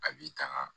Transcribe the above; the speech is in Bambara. A b'i tanga